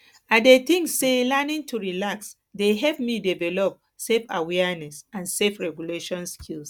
i dey think say learning to relax dey help me develop selfawareness and selfregulation skills